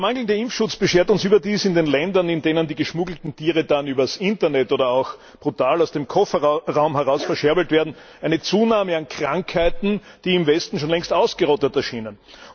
Der mangelnde Impfschutz beschert uns überdies in den Ländern, in denen die geschmuggelten Tiere dann über das Internet oder auch brutal aus dem Kofferraum heraus verscherbelt werden, eine Zunahme an Krankheiten, die im Westen schon längst ausgerottet erschienen.